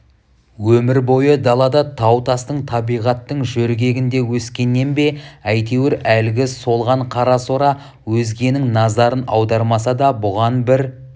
өмір бойы далада тау-тастың табиғаттың жөргегінде өскеннен бе әйтеуір әлгі солған қарасора өзгенің назарын аудармаса да бұған бір